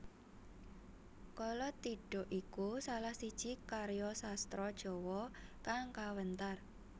Kalatidha iku salah siji karya sastra Jawa kang kawentar